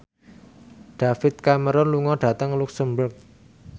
David Cameron lunga dhateng luxemburg